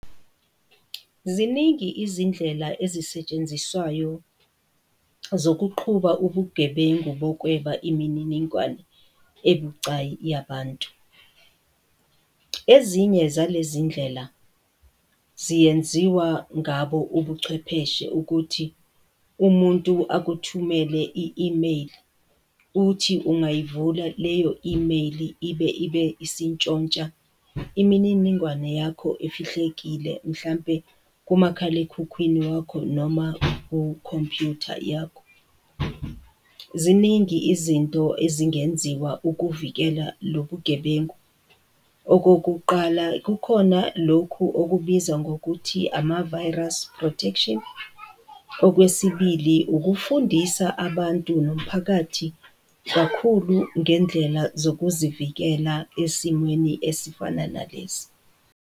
Ziningi izindlela ezisetshenziswayo zokuqhuba ubugebengu bokweba imininingwane ebucayi yabantu. Ezinye zalezi iy'ndlela, ziyenziwa ngabo ubuchwepheshe ukuthi umuntu akuthumele i-imeyili, uthi ungayivula leyo imeyili ibe, ibe isintshontsha imininingwane yakho efihlekile, mhlampe kumakhalekhukhwini wakho noma kukhompuyutha yakho. Ziningi izinto ezingenziwa ukuvikela lobu gebengu. Okokuqala kukhona lokhu okubizwa ngokuthi, ama-virus protection, okwesibili, ukufundisa abantu nomphakathi kakhulu ngendlela zokuzivikela esimweni esifana nalesi.